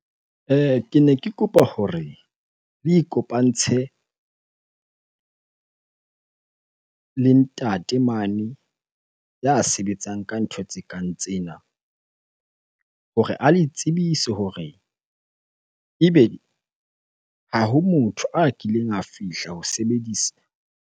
Ke ne ke kopa hore le ikopantshe le ntate mane ya sebetsang ka ntho tse kang tsena hore a le tsebise hore ebe ha ho motho a kileng a fihla ho sebedisa.